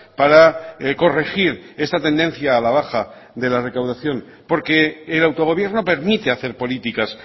para corregir esta tendencia a la baja de la recaudación porque el autogobierno permite hacer políticas